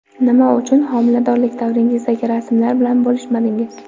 Nima uchun homiladorlik davringizdagi rasmlar bilan bo‘lishmadingiz?